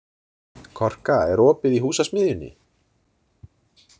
Korka, er opið í Húsasmiðjunni?